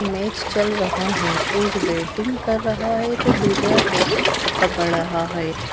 Match चल रहा है एक बैटिंग कर रहा है तो दूसरा कैच पकड़ रहा है।